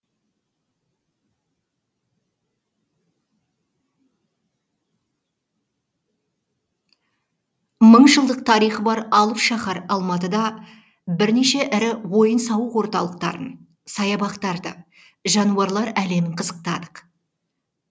мың жылдық тарихы бар алып шаһар алматыда бірнеше ірі ойын сауық орталықтарын саябақтарды жануарлар әлемін қызықтадық